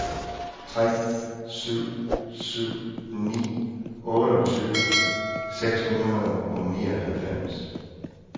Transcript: tre syv syv ni otteogtyve seks hundrede og nioghalvfems